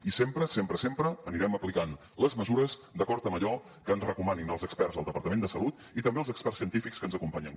i sempre sempre sempre anirem aplicant les mesures d’acord amb allò que ens recomanin els experts del departament de salut i també els experts científics que ens acompanyen